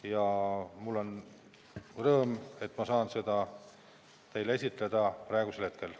Ja mul on rõõm, et ma saan seda teile esitleda praegusel hetkel.